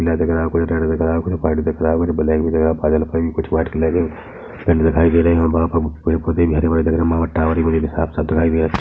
पीला दिख रहा है कुछ रेड दिख रहा है कुछ व्हाइट दिख रहा है कुछ ब्लैक भी दिख रहा है कुछ व्हाइट कलर के दिखाई दे रहे है और वहाँ पर पौधे भी कुछ हरे - भरे दिखाई दे रहे है वहाँ पर टावर भी मुझे साफ - साफ दिखाई दे रहा हैं।